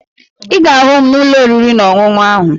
Ị ga-ahụ m n'ụlọ oriri na ọṅụṅụ ahụ